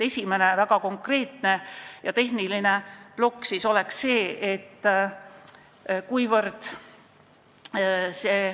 Esimene, väga konkreetne ja tehniline plokk on järgmine.